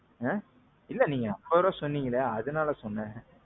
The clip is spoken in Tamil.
ஆ. நீங்க அவ்வளவு சொன்னிங்களே அதனால சொன்னே.